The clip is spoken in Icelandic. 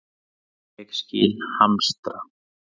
Ég skil hamstra.